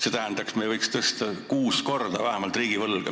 See tähendaks, et me võiks tõsta riigivõlga vähemalt kuus korda.